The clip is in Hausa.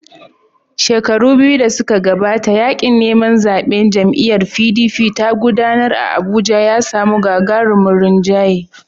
Shekaru biyu da suka gabata, yaƙin neman zaɓen da jam'iyyar PDP ta gudanar a Abuja ya samu gagarumin rinjaye.